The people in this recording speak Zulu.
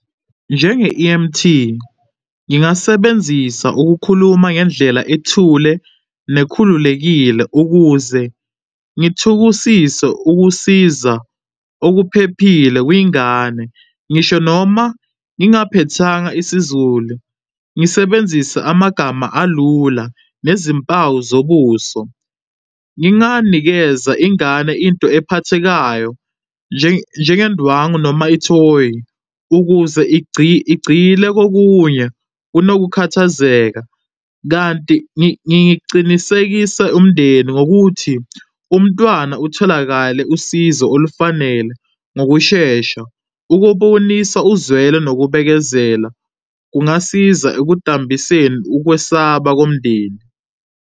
Njenge-E_M_T, ngingasebenzisa ukukhuluma ngendlela ethule nekhululekile ukuze ngithukusise ukusiza okuphephile kwingane. Ngisho noma ngingaphethanga isiZulu, ngisebenzise amagama alula nezimpawu zobuso. Nginganikeza ingane into ephathekayo njengendwangu noma ithoyi ukuze igcile kokunye kunokukhathazeka, kanti ngicinisekise umndeni ngokuthi umntwana utholakale usizo olufanele ngokushesha. Ukubonisa uzwelo nokubekezela kungasiza ekudambiseni ukwesaba komndeni.